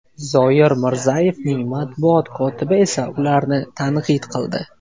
Zoir Mirzayevning matbuot kotibi esa ularni tanqid qildi.